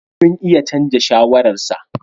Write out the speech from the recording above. Sun iya canza shawararsa.